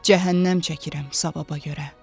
Cəhənnəm çəkirəm savaba görə.